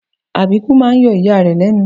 Àbíkú máa ń yọ ìyá rẹ̀ lẹ́nu